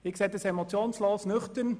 Ich sehe dies emotionslos und nüchtern.